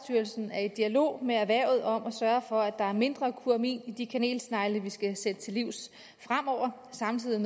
er i dialog med erhvervet om at sørge for at der er mindre kumarin i de kanelsnegle vi skal sætte til livs fremover og samtidig